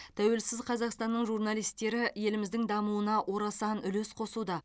тәуелсіз қазақстанның журналистері еліміздің дамуына орасан үлес қосуда